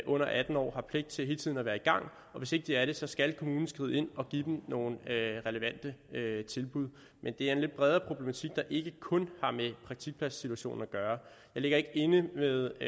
under atten år har pligt til hele tiden at være i gang og hvis ikke de er det skal kommunen skride ind og give dem nogle relevante tilbud men det er en lidt bredere problematik der ikke kun har med praktikpladssituationen at gøre jeg ligger ikke inde med